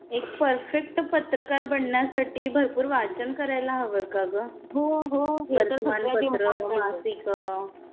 हो हो हे तर सगळ्यात इम्पॉर्टंट आहे. वर्तमान पत्र, मासिक.